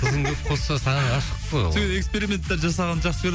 тұзын көп қосса саған ғашық қой ол эксперименттер жасағанды жақсы